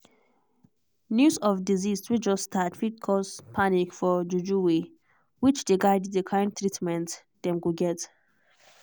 news of disease way just start fit cause panic for juju way which dey guide the kind treatment dem go get.